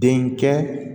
Den kɛ